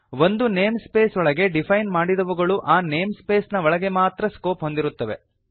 ಒಂದು namespace ಒಳಗೆ define ಮಾಡಿದವುಗಳು ಆ ನೇಮ್ ಸ್ಪೇಸ್ ನ ಒಳಗೆ ಮಾತ್ರ ಸ್ಕೋಪ್ ಹೊಂದಿರುತ್ತವೆ